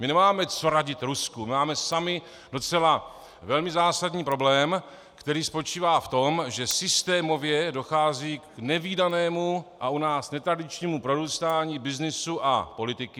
My nemáme co radit Rusku, my máme sami docela velmi zásadní problém, který spočívá v tom, že systémově dochází k nevídanému a u nás netradičnímu prorůstání byznysu a politiky.